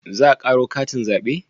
Za a karo katin zabe?